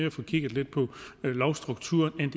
at få kigget på lovstrukturer end